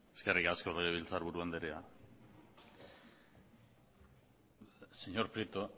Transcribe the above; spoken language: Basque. eskerrik asko legebiltzar buru andrea señor prieto